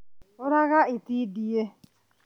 ũraga itindiĩ